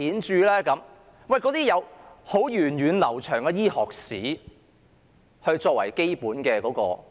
這些是有源遠流長的醫學史作為基本支持的。